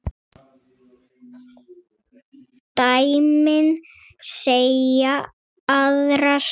Dæmin segja aðra sögu.